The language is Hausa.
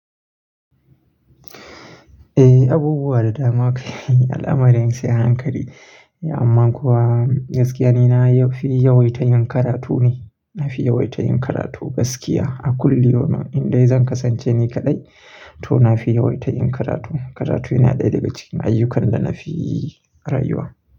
Eh, abubuwa da dama ake yi al'amarin sai a hankali. Amma kuwa gaskiya ni na fi yawaita yin karatu ne. Na fi yawaita yin karatu gaskiya a kulli yaumin domin in dai zan kasance ni kaɗai to na fi yawaita yin karatu. Karatu yana ɗaya daga cikin ayyukan da na fi rayuwa.